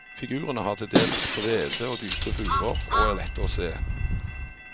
Figurene har til dels brede og dype furer og er lette å se.